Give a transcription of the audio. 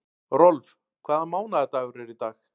Rolf, hvaða mánaðardagur er í dag?